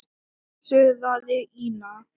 suðaði Ína.